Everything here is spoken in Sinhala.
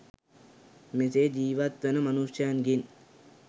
මෙසේ ජීවත් වන මනුෂ්‍යයන්ගෙන්